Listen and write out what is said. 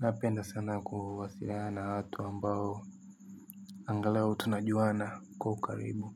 Napenda sana kuwasiliana na watu ambao angalau tunajuana kwa ukaribu.